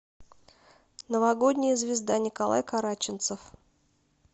новогодняя звезда николай караченцов